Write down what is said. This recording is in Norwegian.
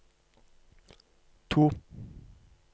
to